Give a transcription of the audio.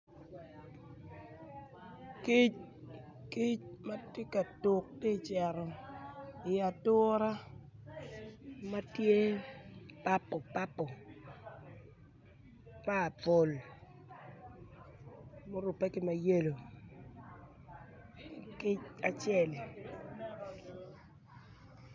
Kic matye ka tuk ki cerro i ature matye purple purple ma orupe ki ma yello kic acelli